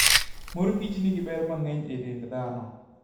Morkich nigi ber mang'eny e dend dhano.